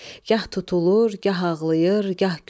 Gah tutulur, gah ağlayır, gah gülür.